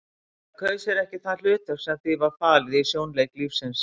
Það kaus sér ekki það hlutverk sem því var falið í sjónleik lífsins.